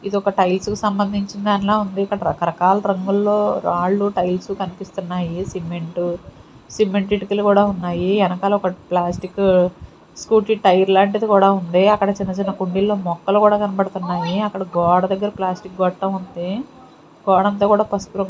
ఇది ఒక టైల్స్ కి సంబంధించినదా ఉంది. ఇక్కడ రకరకాల రంగుల్లో రాళ్ళు టైల్స్ కనిపిస్తున్నాయి సిమెంట్ సిమెంట్ ఇటుకలు కూడా ఉన్నాయి వెనకాల ఒక ప్లాస్టిక్ స్కూటీ టైర్ లాంటిది కూడా ఉంది. అక్కడ చిన్న చిన్న కుండీలో మొక్కలు కూడా కనబడుతున్నాయి అక్కడ గోడ దగ్గర ప్లాస్టిక్ గొట్టం కూడా ఉంది. గోడంతా కూడా పసుపు రం --